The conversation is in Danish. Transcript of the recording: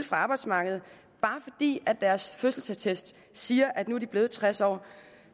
fra arbejdsmarkedet bare fordi deres fødselsattest siger at de nu er blevet tres år